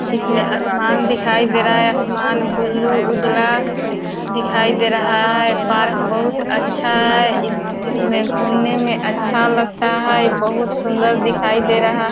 इसमे आसमान दिखाई दे रहा है आसमान बुलु उज्ला दिखाई दे रहा है पार्क बहुत अच्छा है। इस इसमे गुनने मे अच्छा लगता है बहुत सुंदर दिखाई दे रहा--